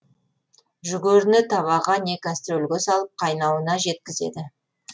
жүгеріні табаға не кастрөлге салып қайнауына жеткізеді